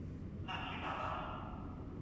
ಹ, ಸ್ಮಿತಾ ಅಲಾ?